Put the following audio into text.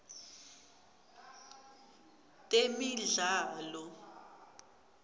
temidlalo